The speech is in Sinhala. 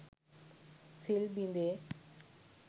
සිල් බිඳේ.